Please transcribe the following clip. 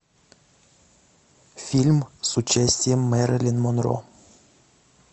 фильм с участием мэрилин монро